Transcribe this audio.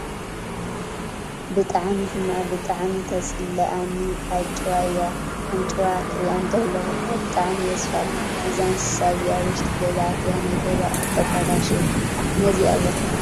ብጣዕሚ ሕማቅ ብጣዕሚ ተፅለኣኒ ኣጭዋ እያ ኣጭዋ ክሪኣ እንተለኩ እኳ ብጣዕሚ እየ ዝፈርሓ። እዛ እንስሳ እዚኣ ኣብ ውሽጢ ገዛ ኣትያ ናይ ገዛ ኣቁት ተባላሽው ። ንዚኣ ዘፍርሓ ናይ ገዛ እንስሳ ምን እያ።